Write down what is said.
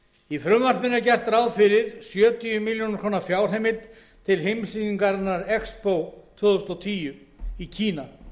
í frumvarpinu er gert ráð fyrir sjötíu ár fjárheimild til heimssýningarinnar expo tvö þúsund og tíu í kína